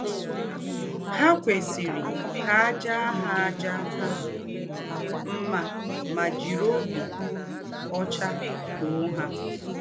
Há kwesírí kà à jàá hà à jàá hà mmà mà jìrí òbí ọ́chá tòó hà.